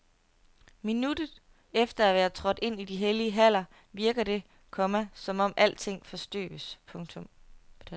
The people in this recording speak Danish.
Minutter efter at være trådt ind i de hellige haller virker det, komma som om alting forstøves. punktum